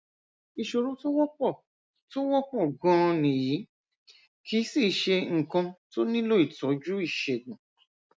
ìṣòro tó wọpọ tó wọpọ gan-an nìyí kìí sìí ṣe nǹkan tó nílò ìtọjú ìṣègùn